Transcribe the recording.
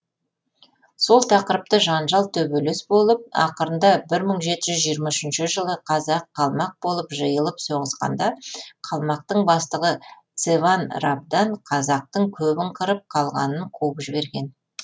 сол тақырыпты жанжал төбелес болып ақырында бір мың жеті жүз жиырма үшінші жылы қазақ қалмақ болып жиылып соғысқанда қалмақтың бастығы цеван рабдан қазақтың көбін қырып қалғанын қуып жіберген